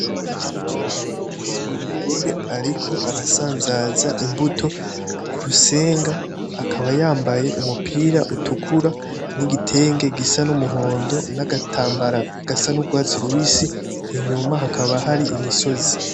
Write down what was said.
Umugore ariko arasanzaza imbuto kurusenga akaba yambaye umupira utukura, nigitenge gisa numuhondo nagatambara gasa nurwatsi rubisi, inyuma haka hari imisozi.